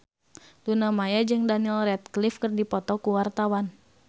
Luna Maya jeung Daniel Radcliffe keur dipoto ku wartawan